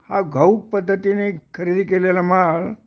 हा घाऊक पद्धतीने खरेदी केलेला माल